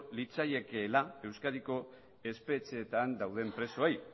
litzaiekeela euskadiko espetxeetan dauden presoei